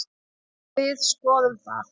Við skoðum það.